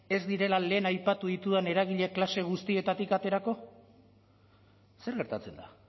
ez direla lehen aipatu ditudan eragile klase guztietatik aterako zer gertatzen da